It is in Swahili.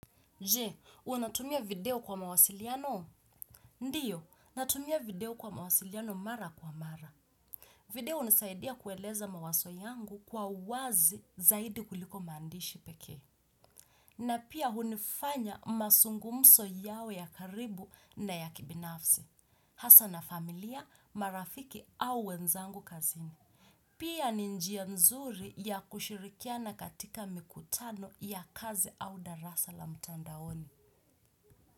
Je, unatumia video kwa mawasiliano? Ndiyo, natumia video kwa mawasiliano mara kwa mara. Video hunisaidia kueleza mawazo yangu kwa wazi zaidi kuliko maandishi pekee. Na pia hunifanya mazungumzo yawe ya karibu na ya kibinafsi. Hasa na familia, marafiki au wenzangu kazini. Pia ni njia nzuri ya kushirikiana katika mikutano ya kazi au darasa la mtandaoni.